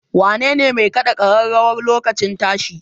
Wanene mai kaɗa ƙararrawar lokacin tashi?